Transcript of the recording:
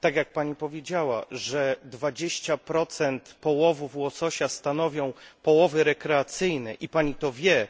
Tak, jak Pani powiedziała, 20 połowów łososia stanowią połowy rekreacyjne i Pani to wie